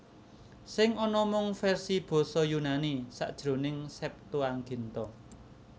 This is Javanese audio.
Sing ana mung versi basa Yunani sajroning Septuaginta